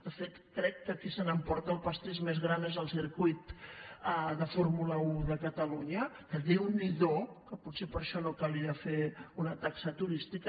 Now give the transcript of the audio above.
de fet crec que qui se n’emporta el pastís més gran és el circuit de fórmula un de catalunya que déu n’hi do que potser per a això no calia fer una taxa turística